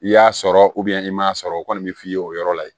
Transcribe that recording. I y'a sɔrɔ i m'a sɔrɔ o kɔni bi f'i ye o yɔrɔ la yen